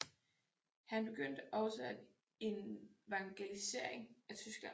Han begyndte også at evangelisering af Tyskland